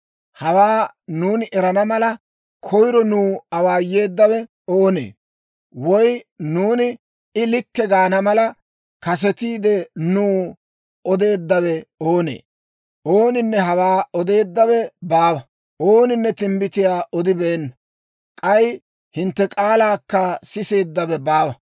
«Hawaa nuuni erana mala, koyiro nuw awaayeeddawe oonee? Woy nuuni, ‹I likke› gaana mala, kasetiide nuw odeeddawe oonee? Ooninne hawaa odeeddawe baawa; ooninne timbbitiyaa odibeenna. K'ay hintte k'aalaakka siseeddawe baawa.